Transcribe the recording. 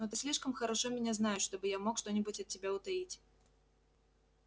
но ты слишком хорошо меня знаешь чтобы я мог что-нибудь от тебя утаить